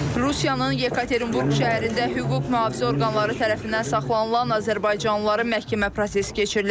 Rusiyanın Yekaterinburq şəhərində hüquq mühafizə orqanları tərəfindən saxlanılan azərbaycanlıların məhkəmə prosesi keçirilib.